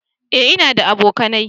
eh in na da abokanai